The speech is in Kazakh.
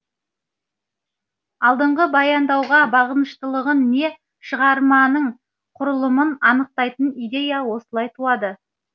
алдыңғы баяндауға бағыныштылығын не шығарманың құрылымын анықтайтын идея осылай туады